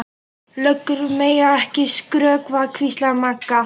Löggur mega ekki skrökva, hvíslaði Magga.